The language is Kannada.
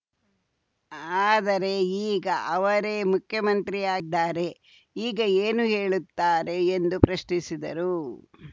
ಆದರೆ ಈಗ ಅವರೇ ಮುಖ್ಯಮಂತ್ರಿಯಾಗಿದ್ದಾರೆ ಈಗ ಏನು ಹೇಳುತ್ತಾರೆ ಎಂದು ಪ್ರಶ್ನಿಸಿದರು